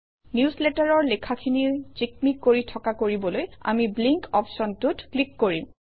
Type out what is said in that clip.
নিউজলেটাৰৰ লেখাখিনি জিকমিক কৰি থকা কৰিবলৈ আমি ব্লিংক অপশ্যনটোত ক্লিক কৰিম